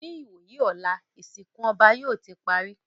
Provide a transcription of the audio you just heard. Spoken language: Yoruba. Ní ìwòyí ọ̀la, ìsìnkú ọba yóò ti parí